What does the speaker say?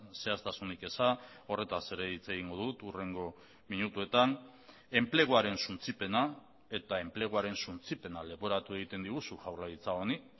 zehaztasunik eza horretaz ere hitz egingo dut hurrengo minutuetan enpleguaren suntsipena eta enpleguaren suntsipena leporatu egiten diguzu jaurlaritza honi